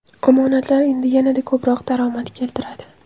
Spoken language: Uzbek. Omonatlar endi yanada ko‘proq daromad keltiradi.